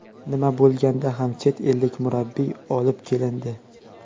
Nima bo‘lganda ham chet ellik murabbiy olib kelindi.